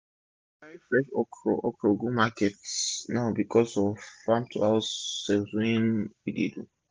we dey carri fresh okro go market market now becos of the farm to house sales wey we dey do